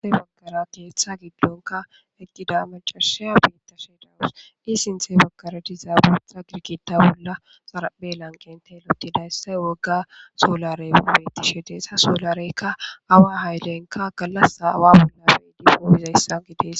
Inthe baggara keeththa giddonka eqqida macashiya beitta she dawus di sinthe bagkaradizaabu xra girkita bolla xarape lanqentey lotida yssay wogga soolarey ubetishe deesa soolareykka awa haylenka gallasa awa bolla beidi poomizayssan gidees.